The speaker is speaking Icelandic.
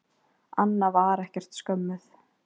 Anna var ekkert skömmuð.